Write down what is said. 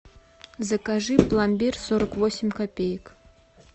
закажи пломбир сорок восемь копеек